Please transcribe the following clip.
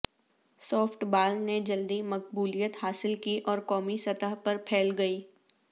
soft بال نے جلدی مقبولیت حاصل کی اور قومی سطح پر پھیل گئی